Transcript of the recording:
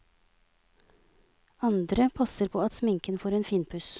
Andre passer på at sminken får en finpuss.